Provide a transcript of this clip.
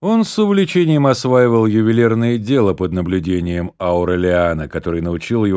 он с увлечением осваивал ювелирное дело под наблюдением аурелиано который научил его